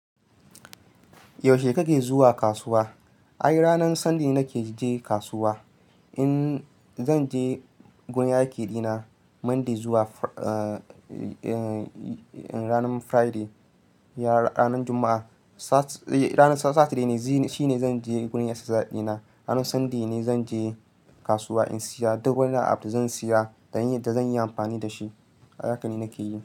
Yaushe kake zuwa kasuwa? Ai ranar Sunday nake je kasuwa. In zan je gurin yaƙi dina Monday zuwa ranar Friday, ya ranar Juma'a, sat ranar Saturday shine zan je gurin exercise din na. Ranar Sunday ne zan je kasuwa in siya duk wani abu da zan siya da zan yi amfani da shi. Haka ne nake yi.